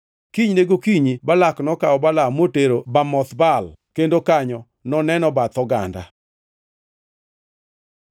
Kinyne gokinyi Balak nokawo Balaam motero Bamoth Baal, kendo kanyo noneno bath oganda.